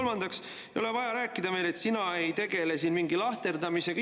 Kolmandaks, ei ole vaja rääkida meile, et sina ei tegele siin mingi lahterdamisega.